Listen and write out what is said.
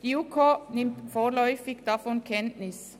Die JuKo nimmt vorläufig davon Kenntnis.